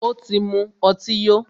Ó tí mú ọtí yó.